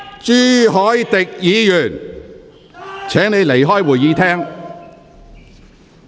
朱凱廸議員，請你離開會議廳。